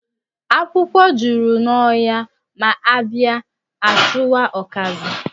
Akwụkwọ jụrụ n'ohia ma a ba'a a chowa okazi.